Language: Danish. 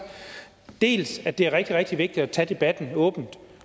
dels synes at det er rigtig rigtig vigtigt at tage debatten åbent